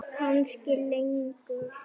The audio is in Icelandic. Kannski lengur.